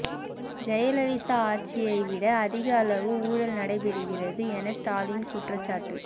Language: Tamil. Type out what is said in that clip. ஜெயலலிதா ஆட்சியை விட அதிக அளவு ஊழல் நடைபெறுகிறது என ஸ்டாலின் குற்றச்சாட்டு